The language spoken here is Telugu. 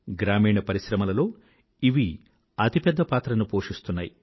గ్రామీణ పరిశ్రమలలో ఇవి అతి పెద్ద పాత్రను పోషిస్తున్నాయి